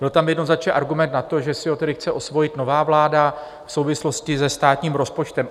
Byl tam jednoznačně argument na to, že si ho tedy chce osvojit nová vláda v souvislosti se státním rozpočtem.